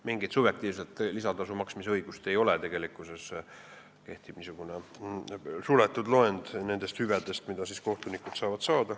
Mingit subjektiivset lisatasu maksmise õigust ei ole, kehtib suletud loend nendest hüvedest, mida kohtunikud saavad.